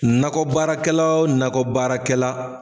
Nakɔbaarakɛla o nakɔbaarakɛla